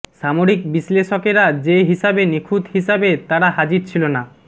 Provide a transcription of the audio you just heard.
সামরিক বিশ্লেষকেরা যে হিসাবে নিখুঁত হিসাবে তারা হাজির ছিল না